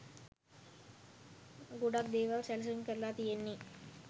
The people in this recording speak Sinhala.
ගොඩක් දේවල් සැලසුම් කරලා තියෙන්නේ.